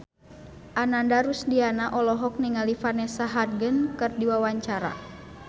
Ananda Rusdiana olohok ningali Vanessa Hudgens keur diwawancara